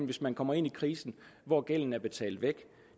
hvis man kommer ind i krisen når gælden er betalt væk